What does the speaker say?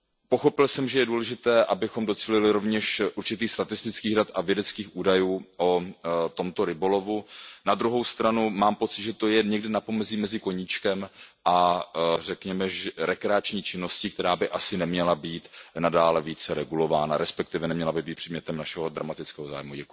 Pochopil jsem, že je důležité, abychom docílili rovněž určitých statistických dat a vědeckých údajů o tomto rybolovu, na druhou stranu mám pocit, že to je někde na pomezí mezi koníčkem a řekněme rekreační činností, která by asi neměla být nadále více regulována, resp. neměla by být předmětem našeho dramatického zájmu.